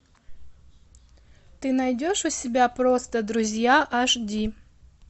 ты найдешь у себя просто друзья аш ди